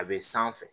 A bɛ sanfɛ